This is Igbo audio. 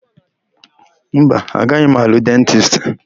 Mba, agaghị m alụ dentisti.